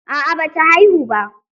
A'a ba ta haihu ba.